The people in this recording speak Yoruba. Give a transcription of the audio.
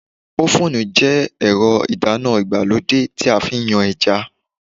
Ófùnù jẹ́ ẹ̀rọ ìdáná ìgbàlódé tí a fi ń yan ẹja